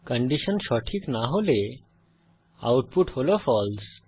condition সঠিক না হলে আউটপুট হল ফালসে